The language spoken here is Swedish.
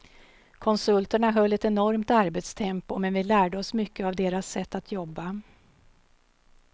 Konsulterna höll ett enormt arbetstempo, men vi lärde oss mycket av deras sätt att jobba.